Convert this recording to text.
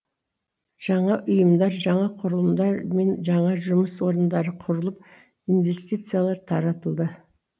жаңа ұйымдар жаңа құрылымдар мен жаңа жұмыс орындары құрылып инвестициялар таратылды